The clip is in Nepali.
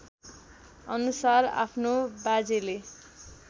अनुसार आफ्नो बाजेले